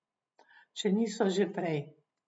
Če niso že prej.